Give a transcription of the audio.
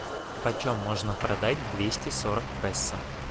почем можно продать двести сорок песо